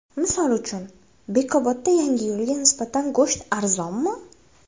Misol uchun, Bekobodda Yangiyo‘lga nisbatan go‘sht arzonmi?